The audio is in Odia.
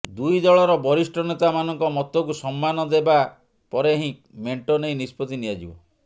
ଦୁଇ ଦଳର ବରିଷ୍ଠ ନେତା ମାନଙ୍କ ମତକୁ ସମ୍ମାନ ଦେବା ପରେ ହିଁ ମେଣ୍ଟ ନେଇ ନିଷ୍ପତ୍ତି ନିଆଯିବ